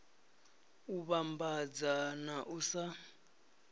u vhambadza na u sa